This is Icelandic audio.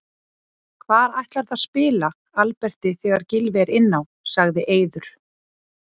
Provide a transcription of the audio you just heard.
Hvar ætlarðu að spila Alberti þegar Gylfi er inn á? sagði Eiður.